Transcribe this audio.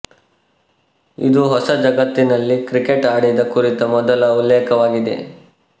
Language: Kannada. ಇದು ಹೊಸ ಜಗತ್ತಿನಲ್ಲಿ ಕ್ರಿಕೆಟ್ ಆಡಿದ ಕುರಿತ ಮೊದಲ ಉಲ್ಲೇಖವಾಗಿದೆ